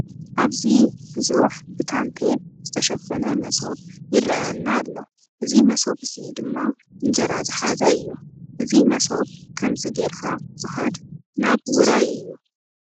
ኣብዚ ቡዙሕ ብታንቲየል ዝተሸፈነ መሶብ ይረአየና ኣሎ እዚ መሶብ እዚ ድማ እንጀራ ዝሓዘ እዩ። እዚ መሶብ ከምዚ ገይርካ ዝከድ ናብ ዉራይ እዩ።